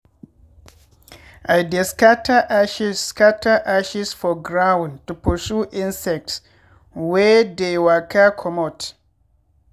i dey scatter ashes scatter ashes for ground to pursue insects wey dey waka comot.